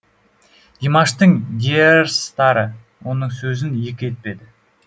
димаштың диэрстары оның сөзін екі етпеді